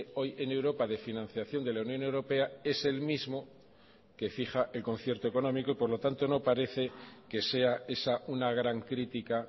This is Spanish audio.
hoy en europa de financiación de la unión europea es el mismo que fija el concierto económico y por lo tanto no parece que sea esa una gran crítica